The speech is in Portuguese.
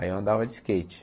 Aí eu andava de skate.